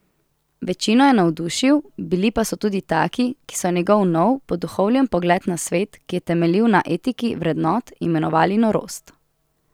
Večino je navdušil, bili pa so tudi taki, ki so njegov nov, poduhovljen pogled na svet, ki je temeljil na etiki vrednot, imenovali norost.